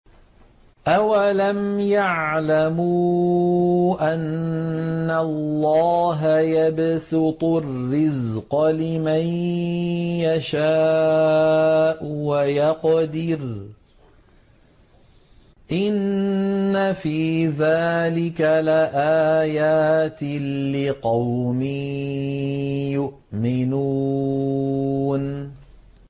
أَوَلَمْ يَعْلَمُوا أَنَّ اللَّهَ يَبْسُطُ الرِّزْقَ لِمَن يَشَاءُ وَيَقْدِرُ ۚ إِنَّ فِي ذَٰلِكَ لَآيَاتٍ لِّقَوْمٍ يُؤْمِنُونَ